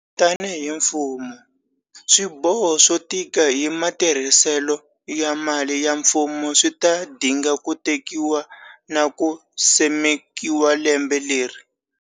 Tanihi mfumo, swiboho swo tika hi matirhiselo ya mali ya mfumo swi ta dinga ku tekiwa na ku simekiwa lembe leri.